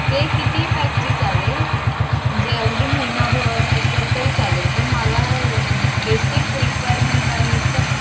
ते कितीही pack ची चालेल. म्हणजे अगदी महिनाभर असेल तरी चालेल. पण मला basic requirement आणि खूप